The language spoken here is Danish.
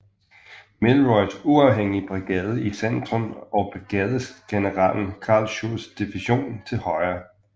Milroys uafhængige brigade i centrum og brigadegeneral Carl Schurzs division til højre